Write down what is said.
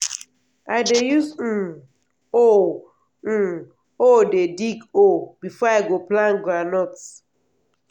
i dey use um hoe um hoe dey dig hole before i go plant groundnut.